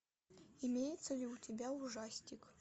имеется ли у тебя ужастик